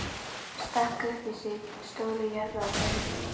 Stakk upp í sig stóru jarðarberi.